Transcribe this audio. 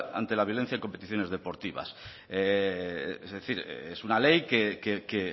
ante la violencia en competiciones deportivas es una ley que